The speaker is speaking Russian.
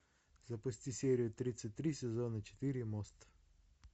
запусти серию тридцать три сезона четыре мост